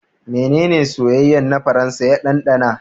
Menene soyayyen na Faransa ya ɗanɗana?